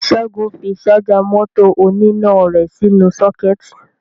Ṣẹ́gun fi ṣájà mọ́tò oníná rẹ̀ sínú sọ́kẹ́ẹ̀tì.